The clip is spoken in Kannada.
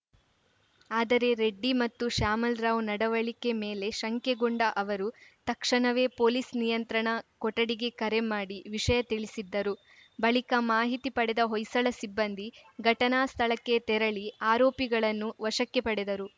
ಆದರೆ ರೆಡ್ಡಿ ಮತ್ತು ಶ್ಯಾಮಲ್‌ ರಾವ್‌ ನಡವಳಿಕೆ ಮೇಲೆ ಶಂಕೆಗೊಂಡ ಅವರು ತಕ್ಷಣವೇ ಪೊಲೀಸ್‌ ನಿಯಂತ್ರಣ ಕೊಠಡಿಗೆ ಕರೆ ಮಾಡಿ ವಿಷಯ ತಿಳಿಸಿದ್ದರು ಬಳಿಕ ಮಾಹಿತಿ ಪಡೆದ ಹೊಯ್ಸಳ ಸಿಬ್ಬಂದಿ ಘಟನಾ ಸ್ಥಳಕ್ಕೆ ತೆರಳಿ ಆರೋಪಿಗಳನ್ನು ವಶಕ್ಕೆ ಪಡೆದರು